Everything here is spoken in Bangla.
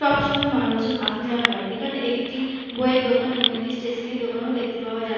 সব সময়ে মানুষজন আসা যাওয়া করে এখানে একটি বইএর দোকান এবং একটি স্টেশনারি দোকান ও দেখতে পাওয়া যাচ্ছে।